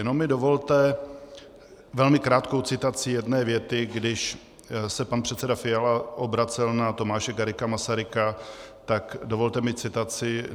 Jenom mi dovolte velmi krátkou citaci jedné věty, když se pan předseda Fiala obracel na Tomáše Garrigua Masaryka, tak dovolte mi citaci.